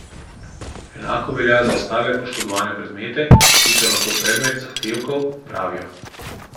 Enako velja za ostale poškodovane predmete, ki so lahko predmet zahtevkov, pravijo.